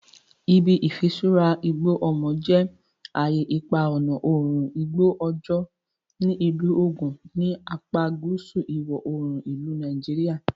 Ibi Ifisura Igbo Omo je aye ipa ọna oorun igbo ojo ni Ilu Ogun, ni apa guusu iwọ-oorun ilu Nigeria.